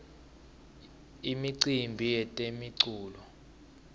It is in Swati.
imiumbi yetemculo